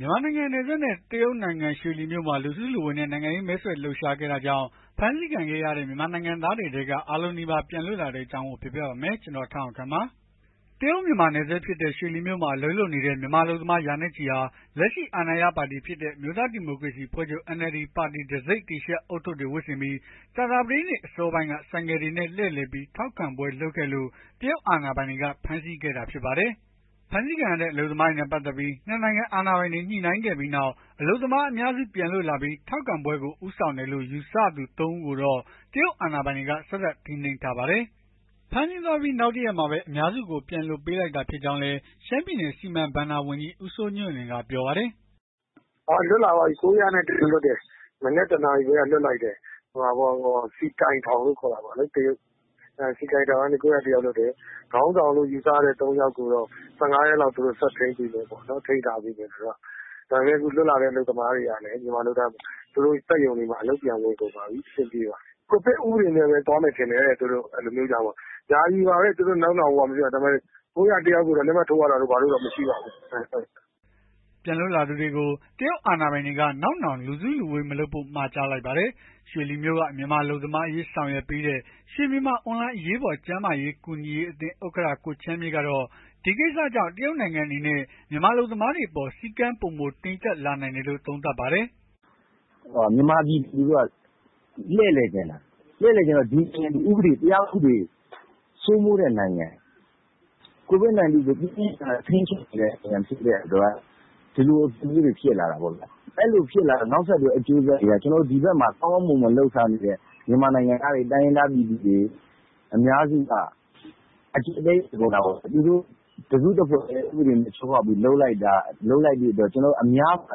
မြန်မာနိုင်ငံနဲ့နယ်စပ် တရုတ်နိုင်ငံ ရွှေလီမြို့မှာ လူစုလူဝေးနဲ့ နိုင်ငံရေးမဲဆွယ်လှုပ်ရှားခဲ့တာကြောင့် ဖမ်းဆီးခံခဲ့ရတဲ့ မြန်မာနိုင်ငံသားတွေထဲက အားလုံးနီးပါး ပြန်လွတ်လာတဲ့ အကြောင်းကို ကိုထက်အောင်ခန့် ပြောပြပါမယ်။ တရုတ်-မြန်မာ နယ်စပ်ဖြစ်တဲ့ ရွှေလီမြို့မှာ အလုပ်လုပ်နေတဲ့ မြန်မာအလုပ်သမား ရာနဲ့ချီဟာ လက်ရှိ အာဏာရ ပါတီဖြစ်တဲ့ အမျိုးသားဒီမိုကရေစီ အဖွဲ့ချုပ် NLD ပါတီတံဆိပ် တီရှပ် ဦးထုပ်တွေ ဝတ်ဆင်ပြီး ကြာသပတေးနေ့ အစောပိုင်းက ဆိုင်ကယ်တွေနဲ့ လှည့်လည်ပြီး ထောက်ခံပွဲလုပ်ခဲ့လို့ တရုတ်အာဏာပိုင်တွေက ဖမ်းဆီးခဲ့တာ ဖြစ်ပါတယ်။ ဖမ်းဆီးခံရတဲ့ အလုပ်သမားတွေနဲ့ ပတ်သက်ပြီး ၂ နိုင်ငံ အာဏာပိုင်တွေ ညှိနှိုင်းခဲ့ပြီးနောက် အလုပ်သမား အများစု ပြန်လွှတ်လာပြီး ထောက်ခံပွဲကို ဦးဆောင်တယ်လို့ ယူဆရသူ ၃ ဦးကိုတော့ တရုတ်အာဏာပိုင်တွေက ဆက်လက်ထိန်းသိမ်းထားပါတယ်။ ဖမ်းဆီးသွားပြီး နောက်တရက်မှာပဲ အများစုကို ပြန်လွှတ်ပေးလိုက်တာ ဖြစ်ကြောင်းလည်း ရှမ်းပြည်နယ် စီမံဘဏ္ဍာဝန်ကြီး ဦးစိုးညွန့်လွင်ကပြောပါတယ်။ “လွတ်လာပါပြီ ၉၀၁ ယောက်လွတ်တယ်။ မနက် ၁ နာရီခွဲက လွှတ်လိုက်တယ်။ စီကိုင်ထောင် လို့ခေါ်တာပေါ့။ စီကိုင်ထောင်ကနေ ၉၀၁ ယောက်လွတ်တယ်။ ခေါင်းဆောင်လို့ ယူဆရတဲ့ ၃ ယောက်ကိုတော့ ၁၅ ရက်လောက် ဆက်ထိန်းသိမ်းမယ်ပေါ့။ ဒါပေမယ့် လွတ်လာတဲ့ မြန်မာအလုပ်သမားတွေကလဲ သူတို့စက်ရုံ တွေမှာ အလုပ်ပြန်ဝင်ကုန်ပါပြီ။ အဆင်ပြေပါတယ်။ ကိုဗစ် ဥပဒေနဲ့ပဲ သွားမယ်ထင်တယ်။ ယာယီပါပဲ။ လက်မှတ်ထိုးရတာတို့ ဘာတို့တော့ မရှိပါဘူး။” ပြန်လွတ်လာသူတွေကို တရုတ်အာဏာပိုင်တွေက နောက်နောင် လူစုလူဝေး မလုပ်ဖို့ မှာကြားလိုက်ပါတယ်။ ရွှေလီမြို့က မြန်မာ အလုပ်သမားများအရေး ဆောင်ရွက်ပေးနေတဲ့ ရွှေမြန်မာ အွန်လိုင်း အရေးပေါ် ကျန်းမာရေး ကူညီရေးအသင်း ဥက္ကဌ ကိုချမ်းမြေ့ကတော့ ဒီကိစ္စကြောင့် တရုတ်နိုင်ငံအနေနဲ့ မြန်မာအလုပ်သမားတွေအပေါ် စည်းကမ်းပိုမို တင်းကျပ်လာနိုင်တယ်လို့ သုံးသပ်ပါတယ်။ “မြန်မာပြည်သူလူထုက လှည့်လည်ချင်တာ ဒီနိုင်ငံက တရားဥပဒေစိုးမိုးတဲ့နိုင်ငံ COVID-19 ကိုပြင်းပြင်း ထန်ထန် ထိန်းချုပ်နေတဲ့ နိုင်ငံဖြစ်တဲ့အတွက် ဒီလိုအဖြစ်မျိုးတွေ ဖြစ်လာတာပေါ့ဗျာ။ အဲ့လိုဖြစ်တာတော့ နောက်ဆက်တွဲ အကျိုးဆက်တွေက ဒီဘက်မှာ ကောင်းကောင်းမွန်မွန် မြန်မာနိုင်ငံသား တိုင်းရင်းသား ပြည်သူတွေ အကျပ်အတည်းဖြစ်ကုန်တာပေါ့။ သူတို့တစုတဖွဲ့တည်း ဥပဒေချိုးဖောက်ပြီး လုပ်လိုက်တဲ့အတွက် အများမှာ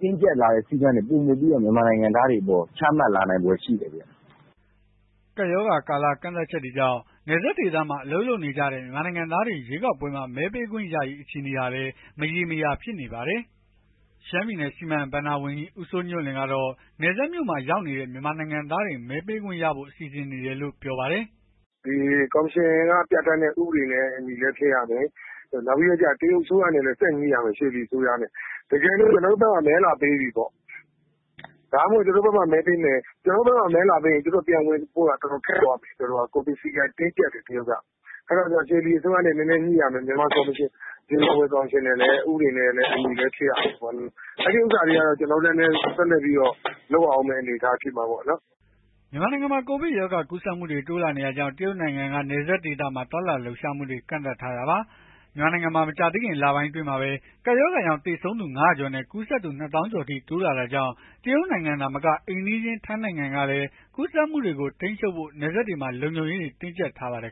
တင်းကျပ်လာနိုင်တဲ့စည်းကမ်းတွေ မြန်မာနိုင်ငံသားတွေအပေါ် ချမှတ်လာနိုင်ဖွယ်ရှိတယ်ခင်ဗျ။” ကပ်ရောဂါကာလ ကန့်သတ်ချက်တွေကြောင့် နယ်စပ်ဒေသမှာ အလုပ်လုပ်နေကြတဲ့ မြန်မာနိုင်ငံသားတွေ ရွေးကောက်ပွဲမှာ မဲပေးခွင့်ရရေး အခြေအနေဟာလည်း မရေမရာ ဖြစ်နေပါတယ်။ ရှမ်းပြည်နယ် စီမံဘဏ္ဍာဝန်ကြီး ဦးစိုးညွန့်လွင်ကတော့ နယ်စပ်မြို့မှာ ရောက်နေတဲ့ မြန်မာနိုင်ငံသားတွေ မဲပေးခွင့်ရဖို့ စီစဉ်နေတယ်လို့ု ပြောပါတယ်။ “ကော်မရှင်က ပြဌာန်းတဲ့ ဥပဒေနဲ့အညီလည်းဖြစ်ရမယ်။ နောက်ပြီး တရုတ်အစိုးရနဲ့လည်း ဆက်ညှိရမယ်။ ရွှေလီအစိုးရနဲ့ တကယ်လို့ ကျွန်တော်တို့ဘက်မှာ မဲလာပေးပြီပေါ့။ မဲလာပေးပြီပေါ့ဆိုရင် သူတို့ ပြန်ဝင်ဖို့ရာ တော်တော်ခက်သွားမယ်။ ကိုဗစ်စည်းကမ်းတင်းကြပ်တယ် တရုတ်က အဲ့တော့ ရွှေလီအစိုးရနဲ့ နည်းနည်း ညှိရမယ်။ မြန်မာရွေးကောက်ပွဲကော်မရှင် ဥပဒေနဲ့အညီလည်း ဖြစ်ရမယ်။ အဲ့ဒါတွေကတော့ ဆက်လက်ပြီး လုပ်ရအုံးမယ့် အနေအထား ဖြစ်မှာပေါ့နော်။” မြန်မာနိုင်ငံမှာ ကိုဗစ်ကပ်ရောဂါ ကူးစက်မှုတွေ တိုးလာနေတာကြောင့် တရုတ်နိုင်ငံက နယ်စပ်ဒေသမှာ သွားလာလှုပ်ရှားမှုတွေ ကန့်သတ်ထားတာပါ။ မြန်မာနိုင်ငံမှာ မကြာသေးခင် လပိုင်းအတွင်းမှာပဲ ကပ်ရောဂါကြောင့် သေဆုံးသူ ၅၀၀ ကျော်နဲ့ ကူးစက်သူ ၂ သောင်းကျော်အထိ တိုးလာတာကြောင့် တရုတ်နိုင်ငံသာမက အိမ်နီးချင်း ထိုင်းနိုင်ငံကလည်း ကူးစက်မှုတွေကို ထိန်းချုပ်ဖို့ နယ်စပ်တွေမှာ လုံခြုံရေးတွေ တင်းကြပ်ထားပါတယ်